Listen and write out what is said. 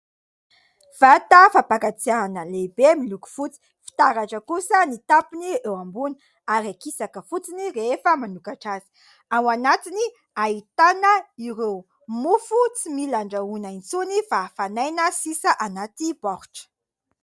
Vata fampangatsiahana lehibe miloko fotsy ; fitaratra kosa ny tampony eo ambony ary akisaka fotsiny rehefa manokatra azy. Ao anatiny ahitana ireo mofo tsy mila andrahoana intsony fa hafanaina sisa anaty baoritra.